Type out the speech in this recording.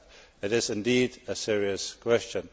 It is indeed a serious question.